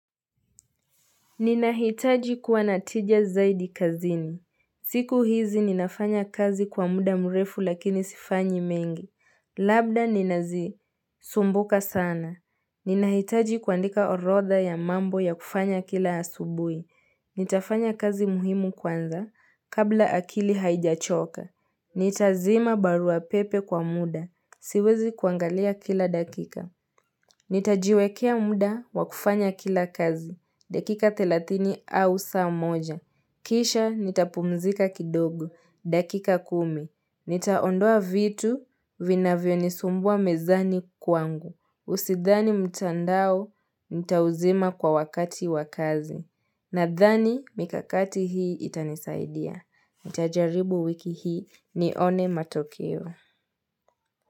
Ninahitaji kuwa na tija zaidi kazini. Siku hizi ninafanya kazi kwa muda mrefu lakini sifanyi mengi. Labda ninazi sumbuka sana. Ninahitaji kuandika orodha ya mambo ya kufanya kila asubuhi. Nitafanya kazi muhimu kwanza kabla akili haijachoka. Nitazima barua pepe kwa muda. Siwezi kuangalia kila dakika. Nitajiwekea muda wakufanya kila kazi. Dakika 30 au saa moja. Kisha nitapumzika kidogo. Dakika kumi. Nitaondoa vitu vinavyonisumbua mezani kwangu. Usidhani mtandao nitauzima kwa wakati wa kazi. Nadhani mikakati hii itanisaidia. Nitajaribu wiki hii nione matokeo.